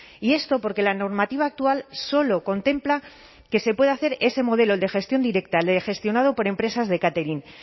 y esto porque la normativa actual solo contempla que se puede hacer ese modelo el de gestión directa el gestionado por empresas de catering